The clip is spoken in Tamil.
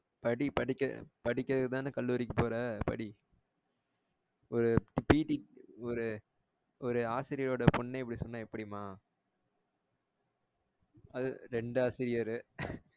படி படிக்க~படிக்கரதுகுதான கல்லூரிக்கு போற படி ஒரு ஒரு ஒரு ஆசிரியர் ஓட பொண்ணே இப்படி சொன்னா எப்படிம அதும் ரெண்டு ஆசிரியர்